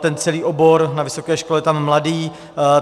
Ten celý obor na vysoké škole je tam mladý.